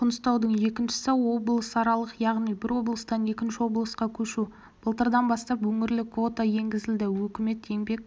қоныстанудың екіншісі облысаралық яғни бір облыстан екінші облысқа көшу былтырдан бастап өңірлік квота енгізілді үкімет еңбек